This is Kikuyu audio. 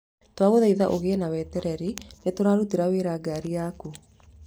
Twagũthaitha ũgie na wetereri, nĩ tũrarutĩra wĩra ngaari yaku.